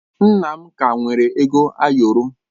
Nna m ka nwere ego ayọrọ.